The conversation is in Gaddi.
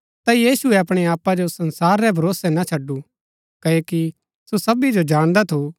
पर यीशुऐ अपणै आपा जो संसारा रै भरोसै ना छडु क्ओकि सो सबी जो जाणदा थू